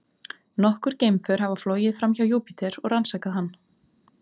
Nokkur geimför hafa flogið framhjá Júpíter og rannsakað hann.